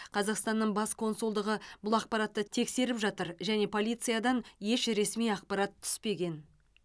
қазақстанның бас консулдығы бұл ақпаратты тексеріп жатыр және полициядан еш ресми ақпарат түспеген